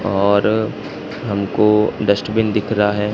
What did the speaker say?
और हमको डस्टबिन दिख रहा हैं।